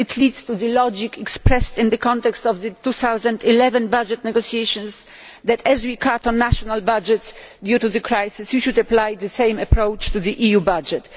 It leads to the logic expressed in the context of the 2011 budget negotiations that if we cut our national budgets due to the crisis, we should apply the same approach to the EU budget.